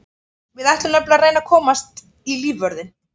Við ætlum nefnilega að reyna að komast í lífvörðinn.